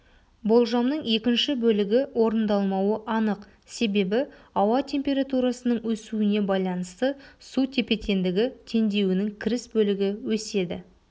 болжамның екінші бөлігі орындалмауы анық себебі ауа температурасының өсуіне байланысты су тепе-теңдігі теңдеуінің кіріс бөлігі өседі